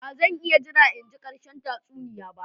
Ba zan iya jira in ji ƙarshen tatsuniya ba.